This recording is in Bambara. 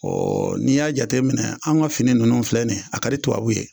Ɔ n'i y'a jate minɛ an ka fini ninnu filɛ nin ye a kadi tubabu ye.